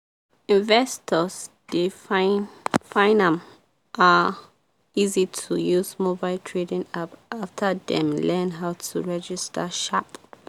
investors dey find find am um easy to use mobile trading app after dem learn how to register sharp.